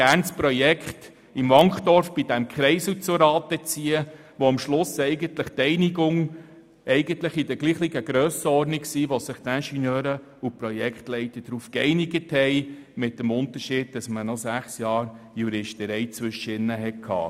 Ich ziehe hier gerne das Kreiselprojekt im Wankdorf heran, bei welchem die Einigung am Schluss bei der Grössenordnung lag, auf die sich die Ingenieure und Projektleiter eigentlich geeinigt hatten, jedoch mit dem Unterschied, dass sechs Jahre Juristerei dazwischen lagen.